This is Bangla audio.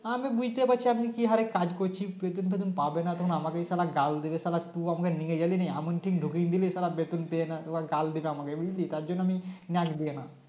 আমি বুঝতে পারছি আপনি কি হারে কাজ করছি বেতন ফেতন পাবে না তখন আমাকেই সালা গাল দিবে সালা তুই আমাকে নিই গেলিনি এমনকি ঢুকিই দিলি সালা বেতন দেয়না এবার গাল দিবে আমাকে বুঝলি তার জন্য আমি নাক দিইনা